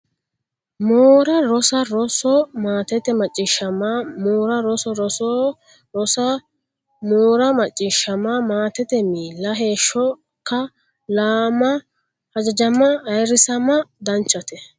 moora rosa roso Maatete macciishshama moora rosa roso roso rosa moora macciishshama Maatete miilla heeshsho kaa lama hajajama ayirrisama Danchate !